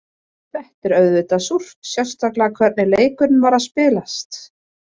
Þetta er auðvitað súrt, sérstaklega hvernig leikurinn var að spilast.